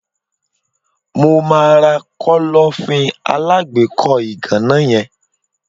Mo máa ra Kọ́lọ́fín alágbèékọ́ ìgànná yen.